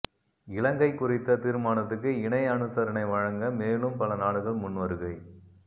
இலங்கை குறித்த தீர்மானத்துக்கு இணை அனுசரணை வழங்க மேலும் பல நாடுகள் முன்வருகை